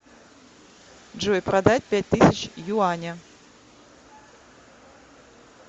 джой продать пять тысяч юаня